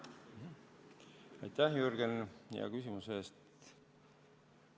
Aitäh, Jürgen, hea küsimuse eest!